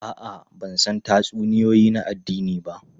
A'a, ban san tatsuniyoyi na addini ba.